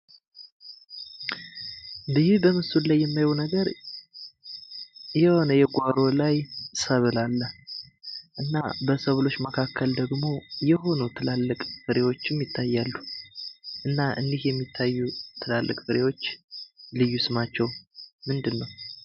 ይህ በምስሉ ላይ የማየው ነገር የሆነ የጓሮ ላይ ሰብል አለ ። እና በሰብሎች መካከል ደግሞ የሆኑ ትላልቅ ፍሬዎችም ይታያሉ እና እኒህ የሚታዩ ትላልቅ ፍሬዎች ልዩ ስማቸው ምንድን ነው?